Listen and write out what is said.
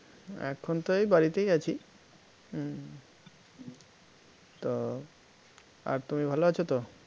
এখন তো এই বাড়িতেই আছি হম তো আর তুমি ভালো আছো তো?